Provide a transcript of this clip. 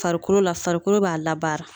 Farikolo la farikolo b'a la baara